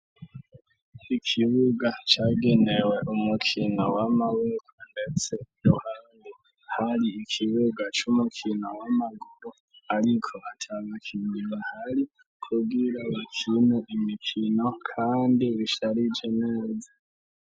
Ikibuga cagenewe umukino w'amaboko ndetse ruhandi hari ikibuga cy'umukino w'amaguru ariko hatyagakindiwe hari kubwira ikinu imikino kandi bishyarije neza.